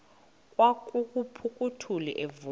kwaqhaphuk uthuli evuma